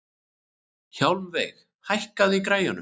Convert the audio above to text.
Hjálmveig, hækkaðu í græjunum.